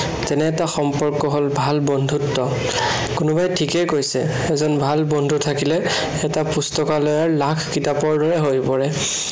তেনে এটা সম্পৰ্ক হল ভাল বন্ধুত্ব। কোনোবাই ঠিকেই কৈছে, ভাল বন্ধু থাকিলে এটা পুস্তকালয়ৰ লাখ কিতাপৰ দৰে হৈ পৰে।